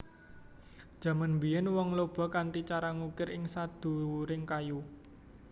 Jaman biyen wong Lhoba kanthi cara ngukir ing sadhuwuring kayu